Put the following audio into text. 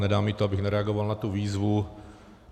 Nedá mi to, abych nereagoval na tu výzvu.